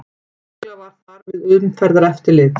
Lögregla var þar við umferðareftirlit